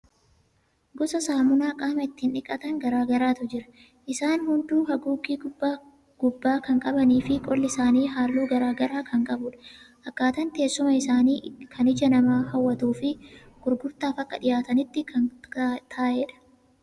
Gosa saamunaa qaama ittiin dhiqatan garaagaraatu jira. Isaan hunduu haguuggii gubbaa kan qabaniifi qolli isaanii haalluu garaagaraa kan qabudha. Akkaataan teessuma isaanii kan ija namaa hawwatuufi gurgurtaaf akka dhiyaatanitti kan ta'edha.